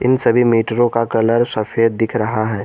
सभी मीटरों का कलर सफेद दिख रहा है।